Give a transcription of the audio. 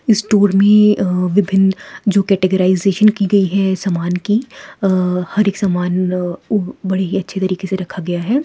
Store में अ विभिन्न जो कैटराईजेस्शन की गई है समान की अ हर एक समान अ वो बड़े अच्छे तरीके से रखा गया हैं।